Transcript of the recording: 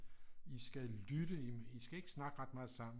I skal lytte I skal ikke snakke ret meget sammen